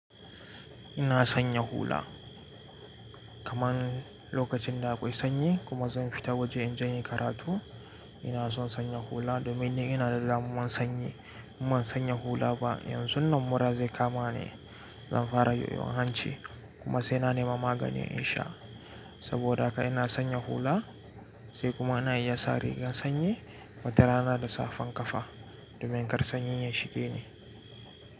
Ina sanya hula kaman lokacin da akwai sanyi kuma zan fita waje in je inyi karatu. Ina son sanya hula domin ni ina da damuwan sanyi. In ban sanya hula ba, yanzu nan mura zai kama ni. Zan fara yoyon hanci kuma sai na nema magani insha. Saboda haka ina sanya hula sai kuma ina iya sa rigar sanyi watara na da safan kafa domin kar sanyi ya shige ni.